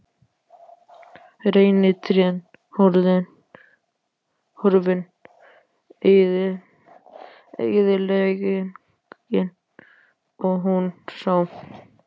Reynitrén horfin- eyðileggingin- og hún sá.